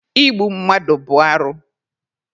Igbu mmadụ bụ arụ.